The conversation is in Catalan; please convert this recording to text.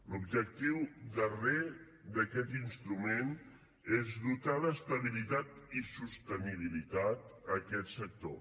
l’objectiu darrer d’aquest instrument és dotar d’estabilitat i sostenibilitat aquest sector